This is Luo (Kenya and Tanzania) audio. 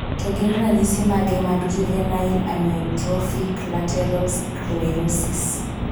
To gin ranyisis mage mag juvenile amyotrophic lateral sclerosis?